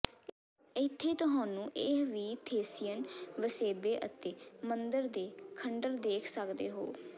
ਇੱਥੇ ਤੁਹਾਨੂੰ ਇਹ ਵੀ ਥ੍ਰੇਸੀਅਨ ਵਸੇਬੇ ਅਤੇ ਮੰਦਰ ਦੇ ਖੰਡਰ ਦੇਖ ਸਕਦੇ ਹੋ